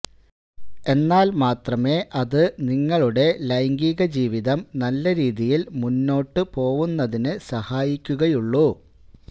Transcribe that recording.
എന്നാല് മാത്രമേ അത് നിങ്ങളുടെ ലൈംഗിക ജീവിതം നല്ല രീതിയില് മുന്നോട്ട് പോവുന്നതിന് സഹായിക്കുകയുള്ളൂ